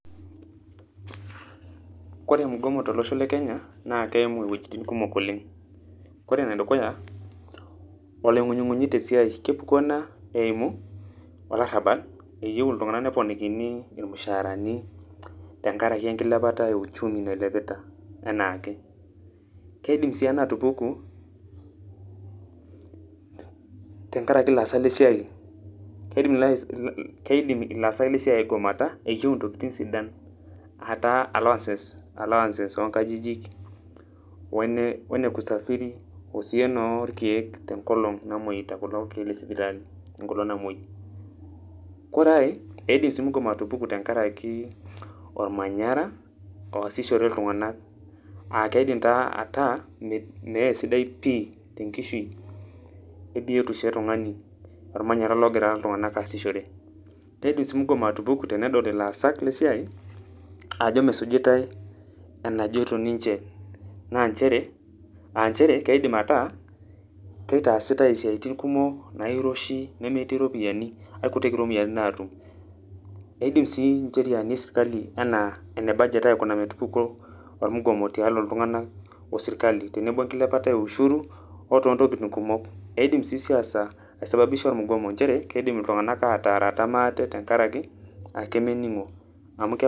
Kore mgomo tolosho le Kenya, keimu iwuejiting kumok oleng'. Kore enedukuya, oloing'unying'unyi tesiai. Kepuku ena eimu, olarrabal, eyieu iltung'anak neponikini irmushaarani tenkaraki enkilepata e uchumi nailepita enaake. Keidim si ena atupuku, tenkaraki laasak lesiai. Keidim ilaasak lesiai aigomata, eyieu intokiting sidan, ataa allowances onkajijik, wene, wene kusafiri, osii enoorkeek tenkolong namoita kulo keek lesipitali enkolong namoi. Kore ai, eidim si mgomo atupuku tenkaraki ormanyara, oasishore iltung'anak. Akeidim taa ataa, meesidai pi tenkishui ebiotisho etung'ani ormanyara ogira iltung'anak aasishore. Keidim si mgomo atupuku tenedol ilaasak lesiai, ajo mesujitai enajoito ninche. Na njere, sh njere keidim ataa keitaasitai isiaitin kumok nairoshi nemetii iropiyiani, aikutik iropiyiani natum. Eidim si incheriani esirkali enaa ene budget aikuna metupuku ormugomo tiatua iltung'anak osirkali, tenebo enkilepata e ushuru ,otoo ntokiting kumok. Eidim si siasa ai sababisha ormugomo njere, kiidim iltung'anak ataarata maate tenkaraki, ake mening'o. Amu.